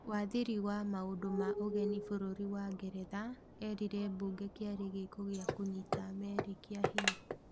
Wathiri wa maũndũ ma ũgeni bũrũri wa Ngeretha erire bunge kiarĩ gĩĩko kĩa kũnyita meri kĩahinya